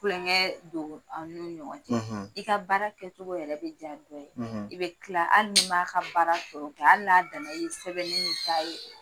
Kulonkɛ don an'u ɲɔgɔn cɛ. . i ka baara kɛcogo yɛrɛ bɛ diya dɔ ye. . I bɛ kila hali ni m'a ka baara tɔ kɛ, hali n'a danna i ye sɛbɛnni min k'a ye.